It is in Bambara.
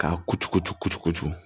K'a kucucu kucu